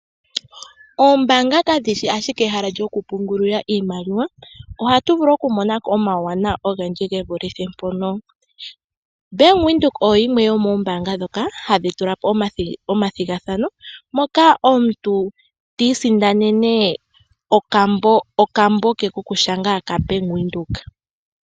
Oombanga kadhi shi ashike ehala lyoku pungulila iimaliwa ohatu vulu oku mona ko omauwanawa ogendji ge vulithe mpono. Bank Windhoek oyoyimwe yomoombaanga ndhoka hadhi tula po omathigathano, moka omuntu ti isindanene okambo ke kokushanga kaBank Windhoek.